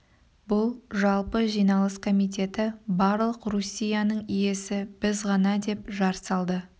бұл жалпы жиналыс комитеті барлық руссияның иесі біз ғана деп жар салды